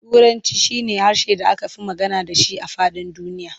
Turanci shi na harshen da aka fi magana da shi a faɗin duniya.